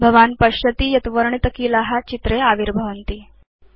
भवान् पश्यति यत् वर्णितकीला चित्रे आविर्भवन्ति